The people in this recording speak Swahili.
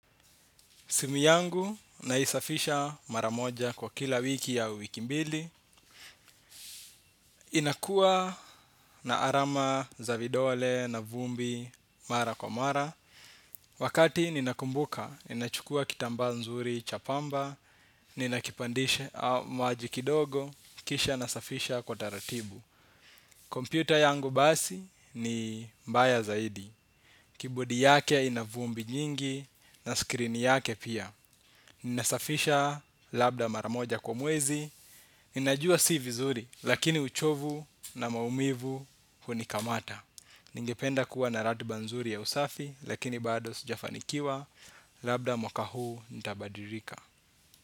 Simi yangu naisafisha mara moja kwa kila wiki au wiki mbili. Inakuwa na alama za vidole na vumbi mara kwa mara. Wakati ninakumbuka, ninachukua kitambaa nzuri cha pamba, ninakipandishe maji kidogo, kisha nasafisha kwa taratibu. Kompyuta yangu basi ni mbaya zaidi. Keyboard yake ina vumbi nyingi na skrini yake pia. Ninasafisha labda mara moja kwa mwezi. Ninajua si vizuri, lakini uchovu na maumivu hunikamata. Ningependa kuwa na ratiba nzuri ya usafi, lakini bado sijafanikiwa. Labda mwaka huu nitabadilika.